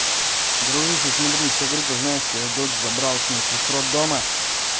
дружище смотри все группы знаешь что я дочь забрал смысле с роддома